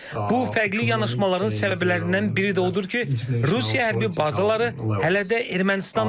Bu fərqli yanaşmaların səbəblərindən biri də odur ki, Rusiya hərbi bazaları hələ də Ermənistandadır.